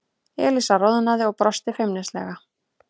Elísa roðnaði og brosti feimnislega.